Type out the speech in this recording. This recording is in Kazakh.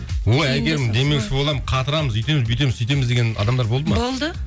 ой әйгерім демеуші боламын қатырамыз үйтеміз бүйтеміз сүйтеміз деген адамдар болды ма болды